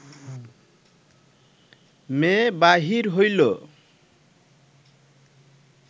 মেয়ে বাহির হইল